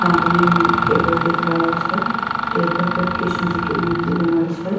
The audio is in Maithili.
सामने में टेबल दिख रहल छै टेबल पर कृष्ण जी के मूर्ति बनल छै।